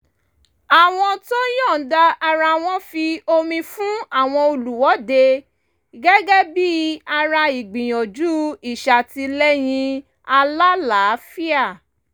àwọn tó yọ̀ǹda ara wọn fi omi fún àwọn olùwọ́dé gẹ́gẹ́ bí i ara ìgbìyànjú ìṣàtìlẹ́yìn alálàáfíà